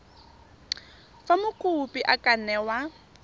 fa mokopi a ka newa